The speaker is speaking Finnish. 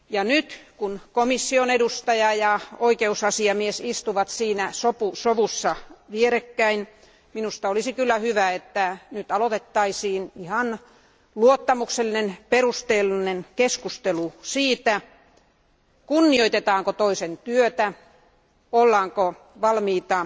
Nyt kun komission edustaja ja oikeusasiamies istuvat siinä sovussa vierekkäin, minusta olisi hyvä, että aloitettaisiin luottamuksellinen ja perusteellinen keskustelu siitä, kunnioitetaanko toisen työtä, ollaanko valmiita